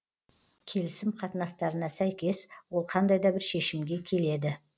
келісім қатынастарына сәйкес ол қандай да бір шешімге келеді